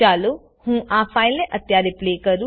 ચાલો હુ આ ફાઈલને અત્યારે પ્લે કરું